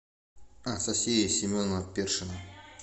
анастасия семеновна першина